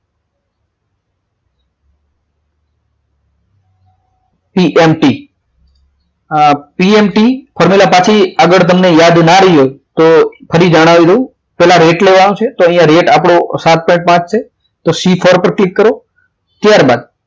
pmt આ pmt formula માંથી આગળ તમને યાદ ના રે તો ફરી જણાવી દઉં પહેલા રેટ લેવાનો છે અહીંયા રેટ આપણો સાત પોઈન્ટ પાંચ છે તો C four પર ક્લિક કરો ત્યારબાદ